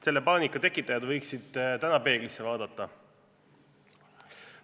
Selle paanika tekitajad võiksid täna peeglisse vaadata.